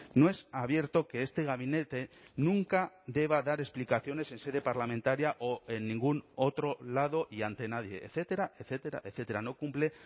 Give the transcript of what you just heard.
no es abierto que este gabinete nunca deba dar explicaciones en sede parlamentaria o en ningún otro lado y ante nadie etcétera etcétera etcétera no cumple